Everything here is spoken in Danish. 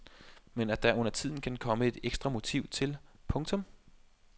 Men at der undertiden kan komme et ekstra motiv til. punktum